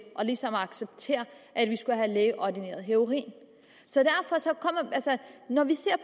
ligesom at acceptere at vi skulle have lægeordineret heroin når vi ser